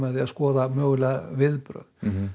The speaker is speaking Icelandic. því að skoða viðbrögð